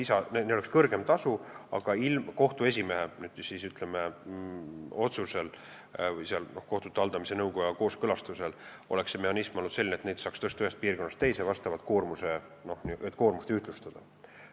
See süsteem oleks olnud selline, et kohtu esimehe otsusel või kohtute haldamise nõukoja kooskõlastuse korral oleks neid saanud tõsta ühest piirkonnast teise, et koormust ühtlustada.